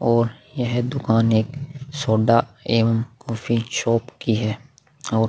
और यह दूकान एक सोडा एवम कॉफ़ी शॉप की है और--